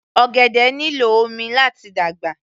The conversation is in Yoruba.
Ọ̀gẹ̀dẹ̀ nílò omi láti dàgbà